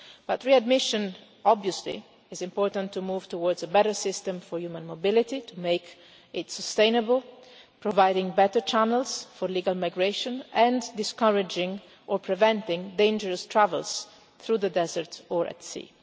But readmission, obviously, is important to move towards a better system for human mobility, to make it sustainable, providing better channels for legal migration, and discouraging or preventing dangerous travels through the desert or at sea.